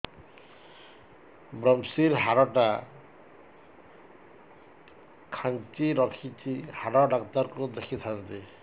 ଵ୍ରମଶିର ହାଡ଼ ଟା ଖାନ୍ଚି ରଖିଛି ହାଡ଼ ଡାକ୍ତର କୁ ଦେଖିଥାନ୍ତି